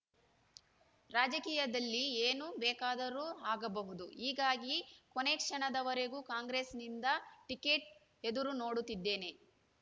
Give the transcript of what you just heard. ರಾಜಕೀಯದಲ್ಲಿ ಏನು ಬೇಕಾದರೂ ಆಗಬಹುದು ಹೀಗಾಗಿ ಕೊನೆಕ್ಷಣದವರೆಗೂ ಕಾಂಗ್ರೆಸ್‌ನಿಂದ ಟಿಕೆಟ್ ಎದುರುನೋಡುತ್ತಿದ್ದೇನೆ